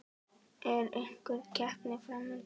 Er einhver keppni fram undan?